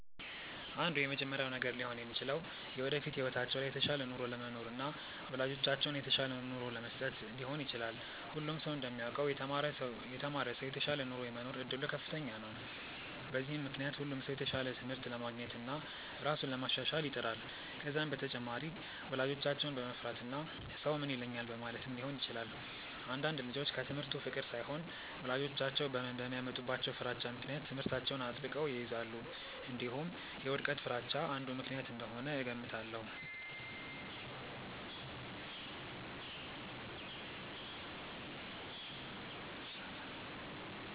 አንዱ የመጀመሪያው ነገር ሊሆን የሚችለው የወደፊት ህይወታቸው ላይ የተሻለ ኑሮ ለመኖርና ወላጆቻቸውን የተሻለ ኑሮ ለመስጠት ሊሆን ይችላል። ሁሉም ሰው እንደሚያውቀው የተማረ ሰው የተሻለ ኑሮ የመኖር እድሉ ከፍተኛ ነው። በዚህም ምክንያት ሁሉም ሰው የተሻለ ትምህርት ለማግኘትና ራሱን ለማሻሻል ይጥራል። ከዛም በተጨማሪ ወላጆቻቸውን በመፍራትና ሰው ምን ይለኛል በማለትም ሊሆን ይችላል። አንዳንድ ልጆች ከትምህርቱ ፍቅር ሳይሆን ወላጆቻቸው በሚያመጡባቸው ፍራቻ ምክንያት ትምህርታቸውን አጥብቀው ይይዛሉ። እንዲሁም የውድቀት ፍርሃቻ አንዱ ምክንያት እንደሆነ እገምታለሁ።